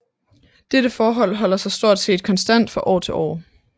Dette forhold holder sig stort set konstant fra år til år